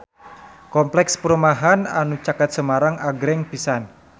Kompleks perumahan anu caket Semarang agreng pisan